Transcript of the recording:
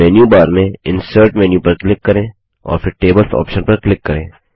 अब मेन्यूबार में insert menu पर क्लिक करें और फिर टेबल्स ऑप्शन पर क्लिक करें